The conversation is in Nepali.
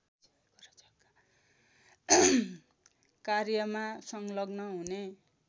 कार्यमा संलग्न हुने